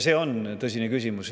See on tõsine küsimus.